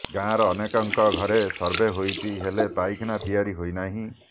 ଗାଁର ଅନେକଙ୍କ ଘରେ ସର୍ଭେ ହୋଇଛି ହେଲେ ପାଇଖାନା ତିଆରି ହୋଇନାହିଁ